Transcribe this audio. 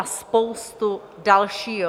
A spoustu dalšího.